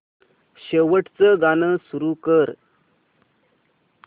शेवटचं गाणं सुरू कर